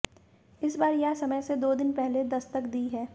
इस बार यह समय से दो दिन पहले दस्तक दी है